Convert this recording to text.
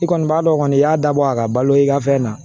I kɔni b'a dɔn kɔni i y'a dabɔ a ka balo i ka fɛn na